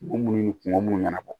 Kun mun ni kungo munnu ɲɛnabɔ